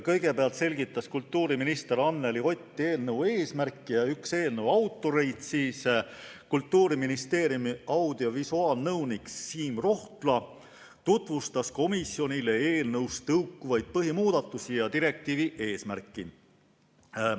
Kõigepealt selgitas kultuuriminister Anneli Ott eelnõu eesmärki ning üks eelnõu autoreid, Kultuuriministeeriumi audiovisuaalnõunik Siim Rohtla tutvustas komisjonile eelnõust tõukuvaid põhimuudatusi ja direktiivi eesmärki.